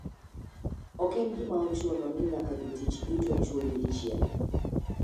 Ok en gima ochuno ni nyaka jotich duto chul dichiel.